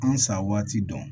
An sa waati dɔn